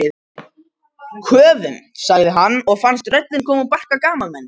Köfum sagði hann og fannst röddin koma úr barka gamalmennis.